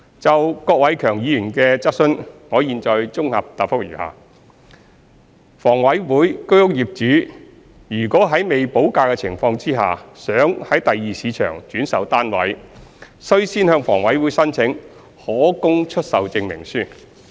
就郭偉强議員的質詢，我現綜合答覆如下：一房委會居屋業主如欲在未補價的情況下，於第二市場轉售單位，須先向房委會申請可供出售證明書。